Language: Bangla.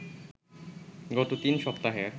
গত তিন সপ্তাহের